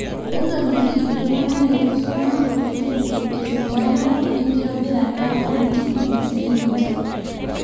entolikiti iltungana leitu eisuma kuusu esidano e nkitobirata oo ntimi si ninche